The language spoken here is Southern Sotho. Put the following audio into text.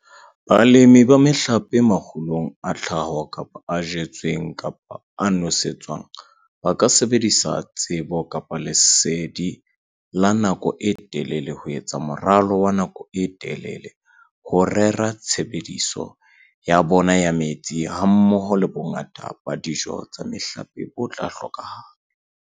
Balemi ba mehlape makgulong a tlhaho kapa a jetsweng kapa a nosetswang ba ka sebedisa tsebo-lesedi la nako e telele ho etsa moralo wa nako e telele ho rera tshebediso ya bona ya metsi hammoho le bongata ba dijo tsa mehlape bo tla hlokahala.